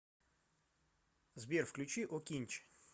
сбер включи окинч